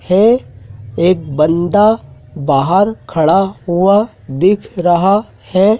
है एक बन्दा बाहर खड़ा हुआ दिख रहा है।